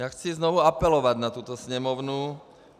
Já chci znovu apelovat na tuto Sněmovnu.